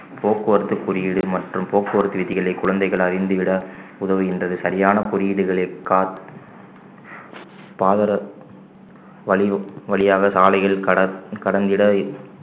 போக்குவரத்து குறியீடு மற்றும் போக்குவரத்து விதிகளை குழந்தைகள் அறிந்து விட உதவுகின்றது சரியான குறியீடுகளை கா~ வழி~ வழியாக சாலையில் கட~ கடந்திட